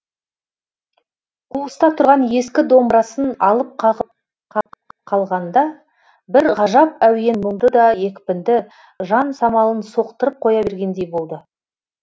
қуыста тұрған ескі домбырасын алып қағып қағып қалғанда бір ғажап әуен мұңды да екпінді жан самалын соқтырып қоя бергендей болды